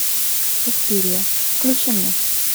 суспирия включи мне